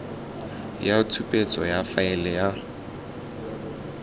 ya tshupetso ya faele ya